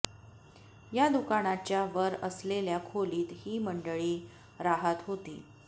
या दुकानाच्या वर असलेल्या खोलीत ही मंडळी राहत होती